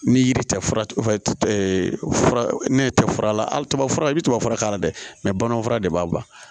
Ni yiri tɛ fura fura ne tɛ fura la hali tubabu fura i bɛ tubabu fura k'a la dɛ bamananw fura de b'a ban